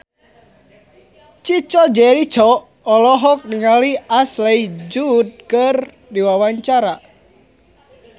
Chico Jericho olohok ningali Ashley Judd keur diwawancara